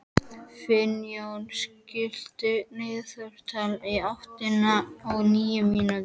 Finnjón, stilltu niðurteljara á áttatíu og níu mínútur.